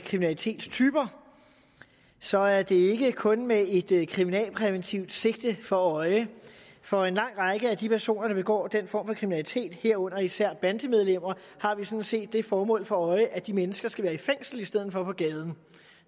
kriminalitetstyper så er det ikke kun med et kriminalpræventivt sigte for øje for en lang række af de personer der begår den form for kriminalitet herunder især bandemedlemmer har vi sådan set det formål for øje at de mennesker skal være i fængsel i stedet på gaden